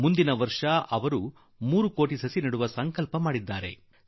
ಮುಂದಿನ ವರ್ಷ ಅದು ಮೂರು ಕೋಟಿ ಗಿಡ ನೆಡುವ ಸಂಕಲ್ಪ ಮಾಡಿದೆ